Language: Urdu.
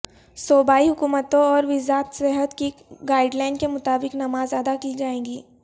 صوبائی حکومتوں اور وزات صحت کی گائیڈ لائن کے مطابق نماز ادا کی جائے